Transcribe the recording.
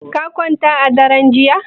Ka kwanta a daren jiya?